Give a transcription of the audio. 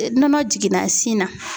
Nɔnɔ jiginna sin na.